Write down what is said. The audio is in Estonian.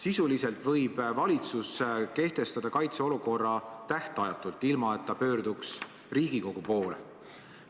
Sisuliselt võib valitsus kehtestada kaitseolukorra tähtajatult, ilma et ta pöörduks Riigikogu poole.